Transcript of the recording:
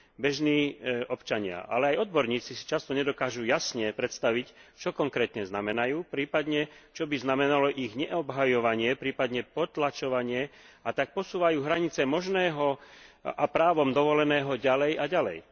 Bežní občania, ale aj odborníci si často nedokážu jasne predstaviť, čo konkrétne znamenajú, prípadne, čo by znamenalo ich neobhajovanie, prípadne potlačovanie, a tak posúvajú hranie možného a právom dovoleného ďalej a ďalej.